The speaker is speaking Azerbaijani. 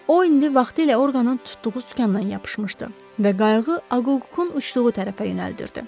O indi vaxtilə orqanın tutduğu sükandan yapışmışdı və qayğı Akukun uçduğu tərəfə yönəldirdi.